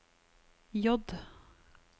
J